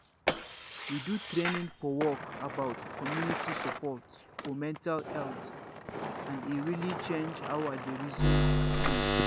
we do training for work about community support for mental health and e really change how i dey reason things